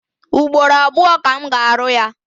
Ugboro abụọ ka m ga-arụ ya.